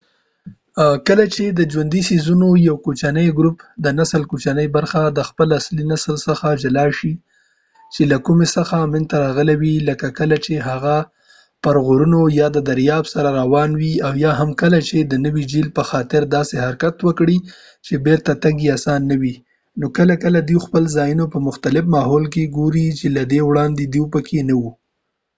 کله چې د ژوندي څیزونو یو کوچنۍ ګروپ د نسل کوچنۍ برخه د خپل اصلي نسل څخه جلا شي چې له کوم څخه منځ ته راغلي وي لکه کله چې هغه پر غرونو یا د دریاب سره روان وي، او یا هم کله چې د نوي جهیل پخاطر داسې حرکت وکړي چې بیرته تګ یې آسانه نه وي نو کله کله دوی خپل ځانونه په مختلف ماحول کې ګوري چې له دې وړاندې دوی پکې نه وو